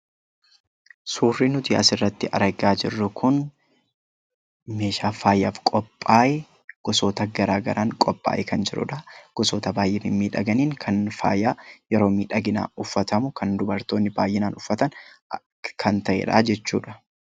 Suurri nuti asirratti argaa jirru kun meeshaa faayaaf qophaahe gosoota garaa garaan qophaahee kan jirudha. Gosoota baay'ee mimmiidhaganiin kan faayaa yeroo miidhaginaa uffatamu, kan dubartoonni baay'inaan uffatan kan ta'edha.